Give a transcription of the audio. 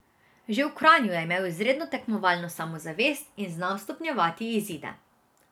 Že v Kranju je imel izredno tekmovalno samozavest in znal stopnjevati izide.